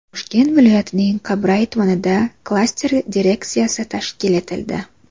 Toshkent viloyatining Qibray tumanida klaster direksiyasi tashkil etildi.